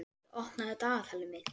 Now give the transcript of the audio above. Patti, opnaðu dagatalið mitt.